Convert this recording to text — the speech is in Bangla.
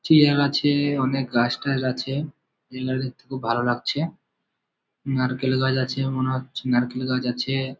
চিয়ার আছে অনেকের গাছ টাছ আছে যেগুলা দেখতে খুব ভালো লাগছে। নারকেল গাছ আছে মনে হচ্ছ নারকেল গাছ আছে--